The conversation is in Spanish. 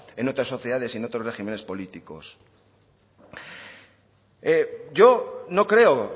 en otras sociedades y otros régimenes políticos yo no creo